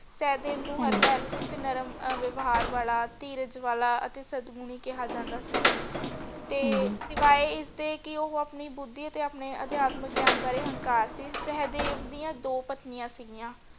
ਸਹਿਦੇਵ ਨੂੰ ਹਾਂਜੀ ਨਰਮ ਅਰ ਵਹਿਵਾਰ ਵਾਲਾ ਧੀਰਜ ਵਾਲਾ ਤੇ ਸਦਮੁਨੀ ਕਿਹਾ ਜਾਂਦਾ ਸੀ ਤੇ ਸਿਵਾਏ ਇਸਦੇ ਕਿ ਉਹ ਆਉਣੀ ਬੁੱਧੀ ਅਤੇ ਆਪਣੇ ਅਧਿਆਤਮਕ ਗਿਆਨ ਬਾਰੇ ਅਹੰਕਾਰ ਸੀ ਸਹਿਦੇਵ ਦੀ ਦੋ ਪਤਨੀਆਂ ਸਿਗੀਆਂ ।